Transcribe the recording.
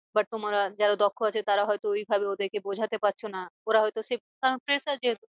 But যারা দক্ষ আছো তারা হয় তো ওই ভাবে ওদেরকে বোঝাতে পারছো না। ওরা হয় তো কারণ fresher যেহেতু